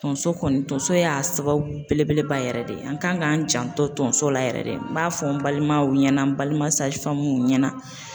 Tonso kɔni tonso y'a sababu belebeleba yɛrɛ de ye an kan k'an janto tonso la yɛrɛ de, n b'a fɔ n balimaw ɲɛna, n balima ɲɛna,